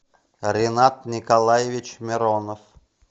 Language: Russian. ренат николаевич миронов